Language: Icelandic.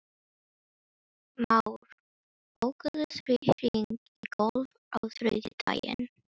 Ekki síðan hún sá hverju krotið líktist.